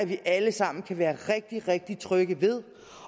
vi alle sammen kan være rigtig rigtig trygge ved